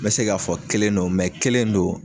N mɛ se k'a fɔ kelen no kelen no.